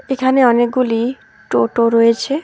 এখানে অনেকগুলি টোটো রয়েছে।